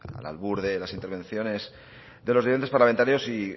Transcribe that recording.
al albur de las intervenciones de los diferentes parlamentarios y